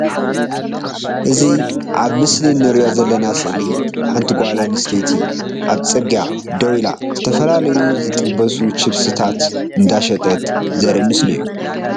እዚ ኣብ ምስሊ እንርእዮ ዘለና ስእሊ ሓንቲ ጓል ኣንስተይቲ ኣብ ፅርግያ ደው ኢላ ዝተፈላለዩ ዝጥበሱ ችብስታት እንዳሸጠት ዘርኢ ምስሊ እዩ።